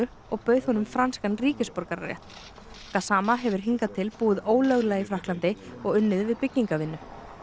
og bauð honum franskan ríkisborgararétt gassama hefur hingað til búið ólöglega í Frakklandi og unnið við byggingarvinnu